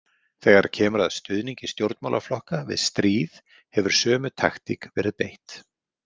Þegar kemur að stuðningi stjórnmálaflokka við stríð hefur sömu taktík verið beitt.